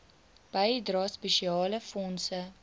bydrae spesiale fondse